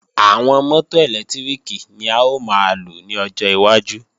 Àwọn mọ́tò ẹ̀lẹ́tíríkì ni a ó máa lò ní ọjọ́ iwájú